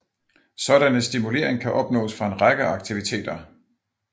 Sådanne stimulering kan opnås fra en række aktiviteter